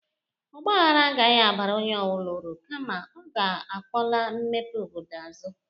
Ọgba ahara agahị abara onye ọbụla uru, kama ọ ga-akpọla mepe obodo azụ.